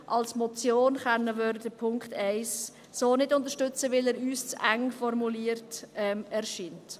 Als Motion können wir Punkt 1 so nicht unterstützen, weil er uns zu eng formuliert scheint.